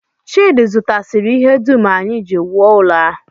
Chidi zụtasịrị ihe dum anyị ji wuo ụlọ a